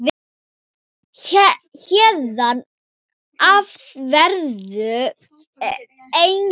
Héðan af verður engu breytt.